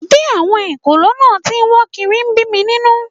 Bí àwọn ekòló náà tí ń wọ́ kiri ń bí mi nínú